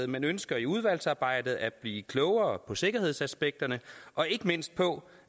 men ønsker i udvalgsarbejdet at blive klogere på sikkerhedsaspekterne og ikke mindst på